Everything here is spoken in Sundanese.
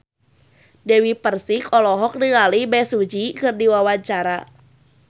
Dewi Persik olohok ningali Bae Su Ji keur diwawancara